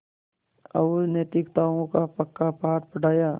और नैतिकताओं का पक्का पाठ पढ़ाया